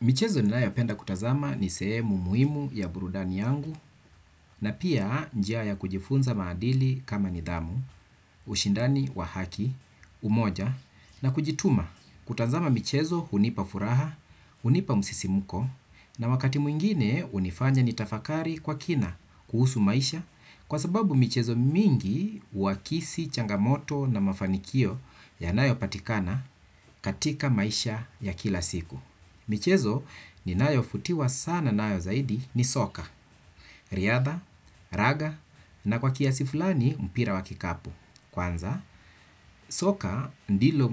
Michezo ninayopenda kutazama ni sehemu muhimu ya burudani yangu na pia njia ya kujifunza maadili kama nidhamu, ushindani wa haki, umoja na kujituma. Kutazama michezo hunipa furaha, hunipa msisimuko na wakati mwingine hunifanya nitafakari kwa kina kuhusu maisha kwa sababu michezo mingi huakisi changamoto na mafanikio yanayopatikana katika maisha ya kila siku. Michezo ninayovutiwa sana nayo zaidi ni soka. Riadha, raga na kwa kiasi fulani mpira wa kikapu. Kwanza, soka ndilo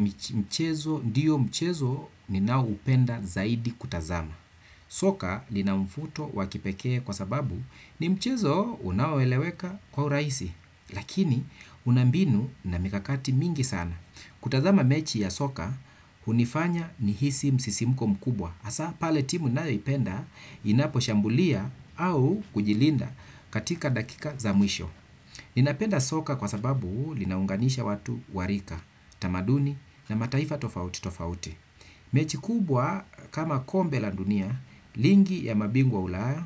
mchezo ninaoupenda zaidi kutazama. Soka lina mvuto wa kipekee kwa sababu ni mchezo unaoeleweka kwa urahisi lakini una mbinu na mikakati mingi sana. Kutazama mechi ya soka, hunifanya nihisi msisimko mkubwa. Hasa pale timu nayoipenda inaposhambulia au kujilinda katika dakika za mwisho. Ninapenda soka kwa sababu linaunganisha watu wa rika, tamaduni na mataifa tofauti tofauti. Mechi kubwa kama kombe la dunia, ligi ya mabingwa ulaya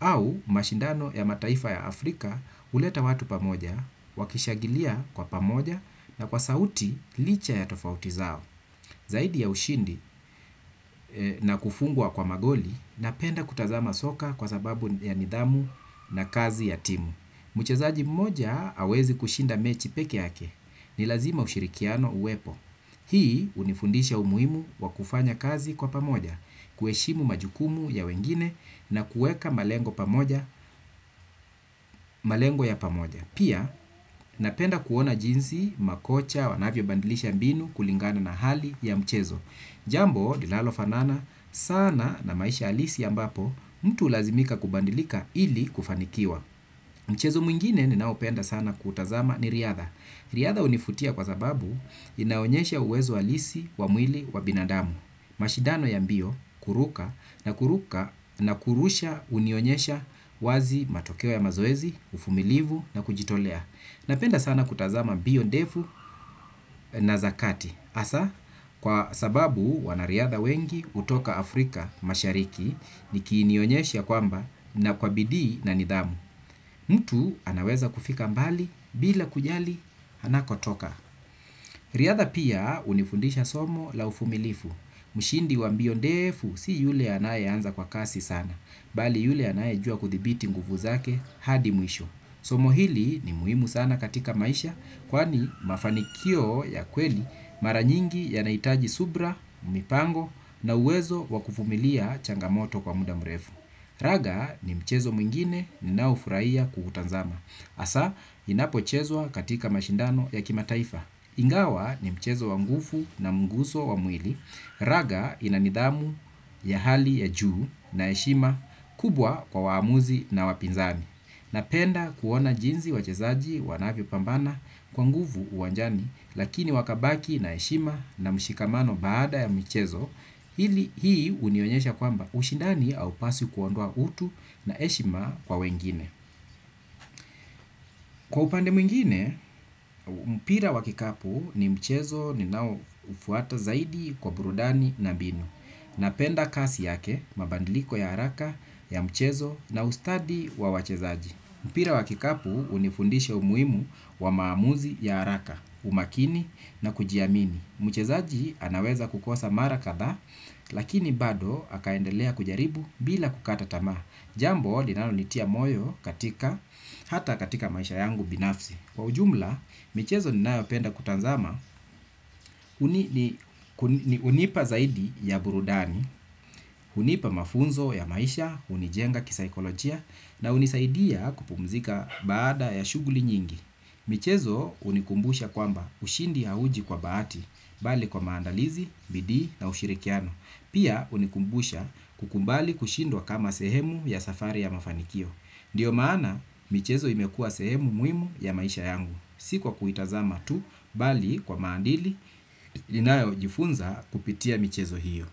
au mashindano ya mataifa ya Afrika huleta watu pamoja, wakishangilia kwa pamoja na kwa sauti licha ya tofauti zao. Zaidi ya ushindi na kufungwa kwa magoli napenda kutazama soka kwa sababu ya nidhamu na kazi ya timu. Mchezaji mmoja hawezi kushinda mechi peke yake. Ni lazima ushirikiano huwepo. Hii hunifundisha umuhimu wa kufanya kazi kwa pamoja, kuheshimu majukumu ya wengine na kuweka malengo ya pamoja. Pia napenda kuona jinsi, makocha, wanavyobadilisha mbinu kulingana na hali ya mchezo. Jambo linalofanana sana na maisha halisi ambapo mtu hulazimika kubadilika ili kufanikiwa. Mchezo mwingine ninaopenda sana kutazama ni riadha. Riadha hunivutia kwa sababu inaonyesha uwezo halisi wa mwili wa binadamu. Mashindano ya mbio kuruka na kuruka na kurusha hunionyesha wazi matokeo ya mazoezi, uvumilivu na kujitolea. Napenda sana kutazama mbio ndefu na za kati. Hasa, kwa sababu wanariadha wengi hutoka Afrika mashariki niki nionyesha kwamba na kwa bidii na nidhamu. Mtu anaweza kufika mbali bila kujali anakotoka. Riadha pia hunifundisha somo la uvumilifu, mshindi wa mbio ndefu si yule anayeanza kwa kasi sana, bali yule anayejua kudhibiti nguvu zake hadi mwisho. Somo hili ni muhimu sana katika maisha kwani mafanikio ya kweli mara nyingi yanahitaji subira, mipango na uwezo wa kuvumilia changamoto kwa muda mrefu. Raga ni mchezo mwingine ninaofurahia kuutazama. Hasa inapochezwa katika mashindano ya kimataifa. Ingawa ni mchezo wa nguvu na mguso wa mwili. Raga ina nidhamu ya hali ya juu na heshima kubwa kwa waamuzi na wapinzani. Napenda kuona jinsi wachezaji wanavyopambana kwa nguvu uwanjani lakini wakabaki na heshima na mshikamano baada ya mchezo hili hii hunionyesha kwamba ushindani haupaswi kuondoa utu na heshima kwa wengine. Kwa upande mwingine, mpira wa kikapu ni mchezo ninaoufuata zaidi kwa burudani na mbinu. Napenda kasi yake mabadiliko ya haraka ya mchezo na ustadi wa wachezaji. Mpira wa kikapu hunifundisha umuhimu wa maamuzi ya haraka, umakini na kujiamini. Mchezaji anaweza kukosa mara kadhaa, lakini bado akaendelea kujaribu bila kukata tamaa. Jambo, linanonitia moyo hata katika maisha yangu binafsi. Kwa ujumla, michezo ninayopenda kutazama, hunipa zaidi ya burudani, hunipa mafunzo ya maisha, hunijenga kisaikolojia, na hunisaidia kupumzika baada ya shughuli nyingi. Michezo hunikumbusha kwamba ushindi hauji kwa bahati bali kwa maandalizi, bidii na ushirikiano. Pia hunikumbusha kukubali kushindwa kama sehemu ya safari ya mafanikio. Ndio maana michezo imekuwa sehemu muhimu ya maisha yangu. Si kwa kuitazama tu bali kwa maadili ninayojifunza kupitia michezo hiyo.